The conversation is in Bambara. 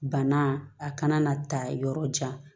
Bana a kana na taa yɔrɔ jan